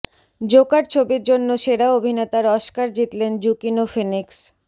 Joker ছবির জন্য সেরা অভিনেতার অস্কার জিতলেন জুকিনো ফিনিক্স